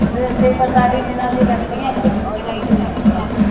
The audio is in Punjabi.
ਤੇ ਫਿਰ ਇੱਥੇ ਵੀ ਪੰਜਤਾਲੀ ਦਿਨਾਂ ਦੀਆ ਲੱਗਦੀਆਂ ਇੱਥੇ ਜੂਨ ਜੁਲਾਈ ਨੂੰ ਲੱਗਦੀਆਂ।